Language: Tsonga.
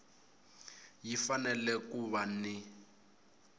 yi fanele ku va ni